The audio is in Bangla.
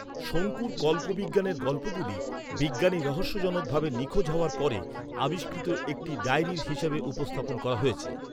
শঙ্কুর কল্পবিজ্ঞানের গল্পগুলি বিজ্ঞানী রহস্যজনক ভাবে নিখোঁজ হওয়ার পরে, আবিষ্কৃত একটি ডায়েরি হিসাবে উপস্থাপন করা হয়েছে।